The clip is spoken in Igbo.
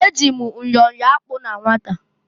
Eji m myọ yọọ akpụ na nwata.